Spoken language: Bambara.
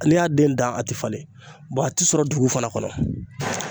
N'i y'a den dan a tɛ falen a tɛ sɔrɔ dugu fana kɔnɔ